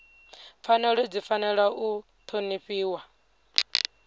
pfanelo dzi fanela u ṱhonifhiwa